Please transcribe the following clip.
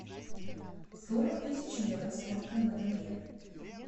сорок тысяч евро сколько на тенге